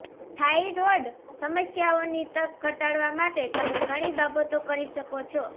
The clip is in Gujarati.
થાઇરોઇડ સમસ્યાઓની તક ઘટાડવા માટે તમે ઘણી બાબતો કરી શકો છો